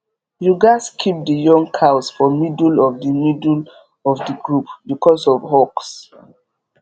you gats keep the young cows for middle of the middle of the group because of hawks